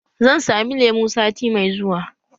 Zan sami lemu sati mai zuwa